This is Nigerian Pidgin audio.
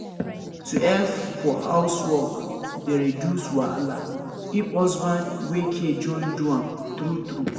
to help for housework dey reduce wahala if husband wey care join do am true true